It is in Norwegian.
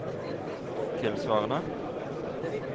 tilsvarende